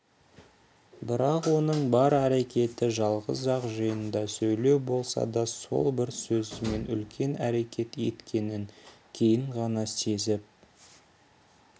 бірақ оның бар әрекеті жалғыз-ақ жиында сөйлеу болса да сол бір сөзімен үлкен әрекет еткенін кейін ғана сезіп